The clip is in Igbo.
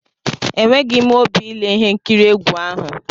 Enweghi m óbị ile ihe nkiri egwu ahụ!